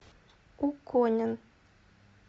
куконин